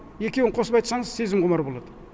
екеуін қосып айтсаңыз сезім құмар болады